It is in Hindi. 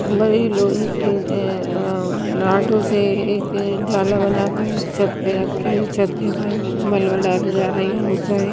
ऊपर ये लोहे के रॉड से एक जाला बना कर छत पर रख के छत के ऊपर मालवा डाला जा रहा है मुझे ही --